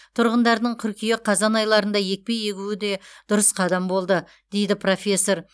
тұрғындардың қыркүйек қазан айларында екпе егуі де дұрыс қадам болды дейді профессор